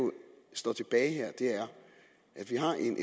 står tilbage her er at vi har en